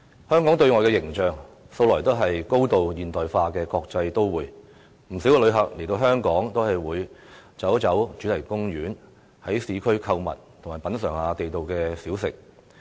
香港對外的形象素來也是高度現代化的國際都會，不少旅客來到香港也會到主題公園，在市區購物，品嚐地道小食。